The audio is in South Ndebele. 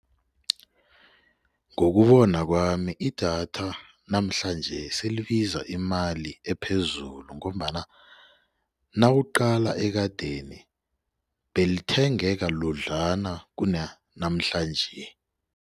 Ngokubona kwami idatha namhlanje selibiza imali ephezulu ngombana nawuqala ekadeni belithengeka ludlana kuna namhlanje.